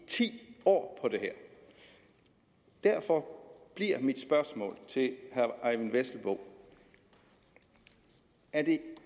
ti år på det her derfor bliver mit spørgsmål til herre eyvind vesselbo er det